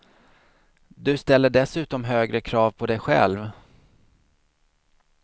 Du ställer dessutom högre krav på dig själv.